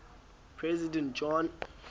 president john